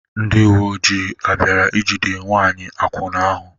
Ndị uwe ojii ọ̀ bịara ijide nwanyị akwụna ahụ?